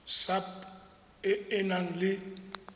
sap e e nang le